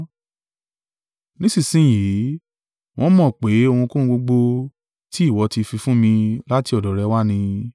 Nísinsin yìí, wọ́n mọ̀ pé ohunkóhun gbogbo tí ìwọ ti fi fún mi, láti ọ̀dọ̀ rẹ wá ni.